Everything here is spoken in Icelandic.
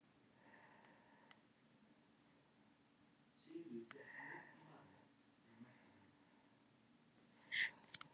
Um leið og ég kem að sækja hann í leikskólann, ryðst hann á móti mér